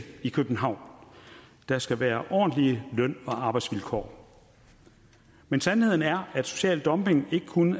i københavn der skal være ordentlige løn og arbejdsvilkår men sandheden er at social dumping ikke kun